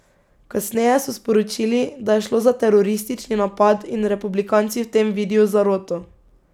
Kasneje so sporočili, da je šlo za teroristični napad in republikanci v tem vidijo zaroto.